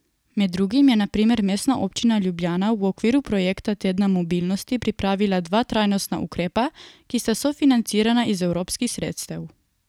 Med drugim je na primer Mestna občina Ljubljana v okviru projekta tedna mobilnosti pripravila dva trajnostna ukrepa, ki sta sofinancirana iz evropskih sredstev.